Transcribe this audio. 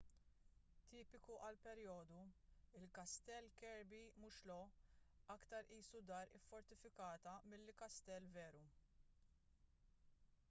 tipiku għall-perjodu il-kastell kirby muxloe aktar qisu dar iffortifikata milli kastell veru